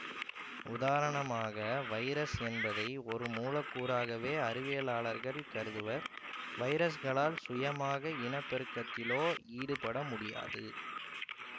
உதாரணமாக வைரஸ் என்பதை ஒரு மூலக்கூறாகவே அறிவியலாளர்கள் கருதுவர் வைரஸ்களால் சுயமாக இனப்பெருக்கத்திலோ ஈடுபட முடியாது